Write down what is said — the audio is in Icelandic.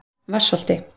Vatnsholti